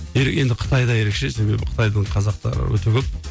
енді қытайда ерекше себебі қытайдың қазақтары өте көп